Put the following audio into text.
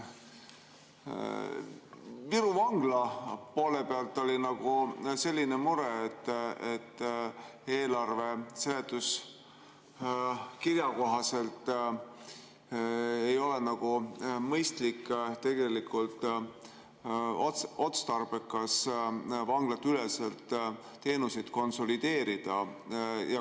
Viru vangla poole pealt oli selline mure, et eelarve seletuskirja kohaselt ei ole nagu mõistlik ega otstarbekas vanglateüleselt teenuseid konsolideerida.